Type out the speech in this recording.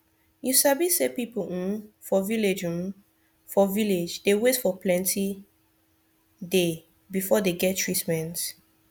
you sabi say people hmm for village hmm for village dey wait for plenti day before dey get treatment